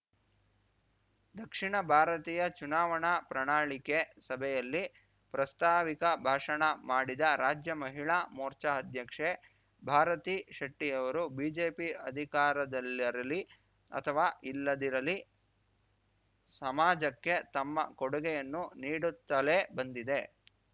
ದಕ್ಷಿಣ ಭಾರತೀಯ ಚುನಾವಣಾ ಪ್ರಣಾಳಿಕೆ ಸಭೆಯಲ್ಲಿ ಪ್ರಸ್ತಾವಿಕ ಭಾಷಣ ಮಾಡಿದ ರಾಜ್ಯ ಮಹಿಳಾ ಮೋರ್ಚಾ ಅಧ್ಯಕ್ಷೆ ಭಾರತೀ ಶೆಟ್ಟಿಯವರು ಬಿಜೆಪಿ ಅಧಿಕಾರದಲ್ಲಿರಲಿ ಅಥವಾ ಇಲ್ಲದಿರಲಿ ಸಮಾಜಕ್ಕೆ ತಮ್ಮ ಕೊಡುಗೆಯನ್ನು ನೀಡುತ್ತಲೇ ಬಂದಿದೆ